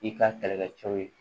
I ka kɛlɛkɛ cɛw ye